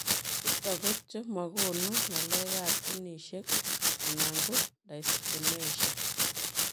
Chutok ko cho magonuu ngaleekap ginisiek ana ko daiskinesia?